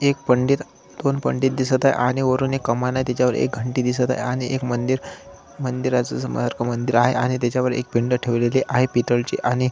एक पंडित दोन पंडित दिसत आहे आणि वरुन एक कमान आहे तिच्यावर एक घंटी दिसत आहे आणि मंदिर मंदिर आहे आणि त्याच्यावर एक पिंड ठेवलेली आहे पितळची आणि--